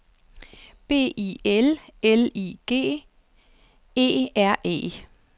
B I L L I G E R E